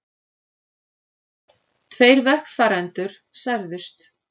Tveir vegfarendur særðust